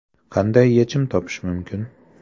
Qanday yechim topish mumkin?